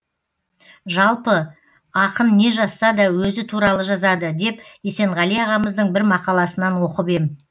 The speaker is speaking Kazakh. жалпы ақын не жазса да өзі туралы жазады деп есенғали ағамыздың бір мақаласынан оқып ем